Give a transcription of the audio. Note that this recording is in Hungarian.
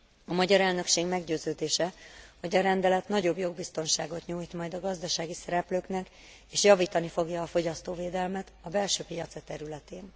A magyar elnökség meggyőződése, hogy a rendelet nagyobb jogbiztonságot nyújt majd a gazdasági szereplőknek, és javítani fogja a fogyasztóvédelmet a belső piaca területén.